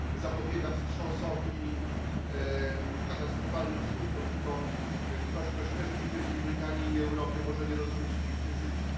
To zapobiega wstrząsowi i katastrofalnym skutkom. Tylko ktoś, kto źle życzy Wielkiej Brytanii i Europie, może nie rozumieć tych decyzji.